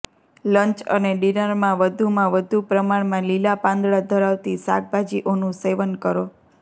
lunch અને ડિનરમાં વધુમાં વધુ પ્રમાણમાં લીલા પાંદડા ધરાવતી શાકભાજીઓનું સેવન કરો